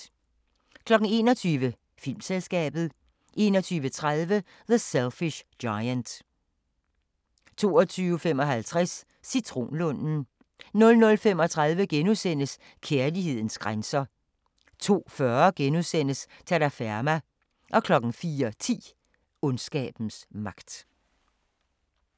21:00: Filmselskabet 21:30: The Selfish Giant 22:55: Citronlunden 00:35: Kærlighedens grænser * 02:40: Terraferma * 04:10: Ondskabens magt